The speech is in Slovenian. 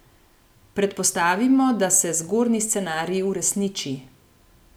Predpostavimo, da se zgornji scenarij uresniči.